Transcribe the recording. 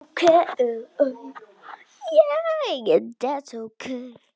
Og hef alltaf verið það.